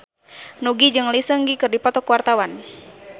Nugie jeung Lee Seung Gi keur dipoto ku wartawan